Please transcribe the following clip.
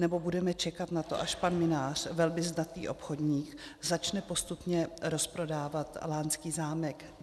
Nebo budeme čekat na to, až pan Mynář, velmi zdatný obchodník, začne postupně rozprodávat lánský zámek?